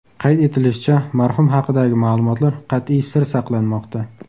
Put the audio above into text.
Qayd etilishicha, marhum haqidagi ma’lumotlar qat’iy sir saqlanmoqda .